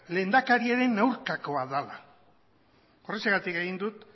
lehendakariaren aurkakoa dela horrexegatik egin dut